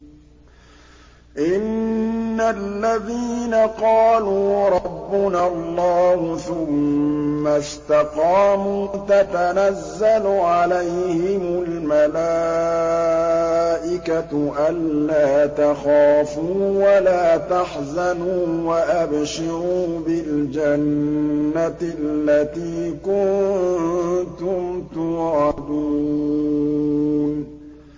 إِنَّ الَّذِينَ قَالُوا رَبُّنَا اللَّهُ ثُمَّ اسْتَقَامُوا تَتَنَزَّلُ عَلَيْهِمُ الْمَلَائِكَةُ أَلَّا تَخَافُوا وَلَا تَحْزَنُوا وَأَبْشِرُوا بِالْجَنَّةِ الَّتِي كُنتُمْ تُوعَدُونَ